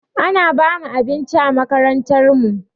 Ana bamu abinci a makarantar mu